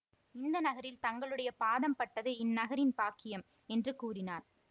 இந்த நகரில் தங்களுடைய பாதம் பட்டது இந்நகரின் பாக்கியம் என்று கூறினார்